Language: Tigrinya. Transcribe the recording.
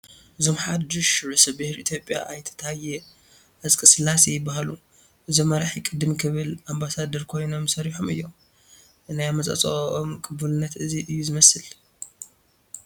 እዞም ሓዱሽ ርእሰ ብሄር ኢትዮጵያ ኣይተ ታየ ኣፅቀስላሴ ይበሃሉ፡፡ እዞም መራሒ ቅድም ክብል ኣምባሳደር ኮይኖም ሰሪሖም እዮም፡፡ ናይ ኣመፃፅእኦም ቅቡልነት እዚ እዩ ዝመስል፡፡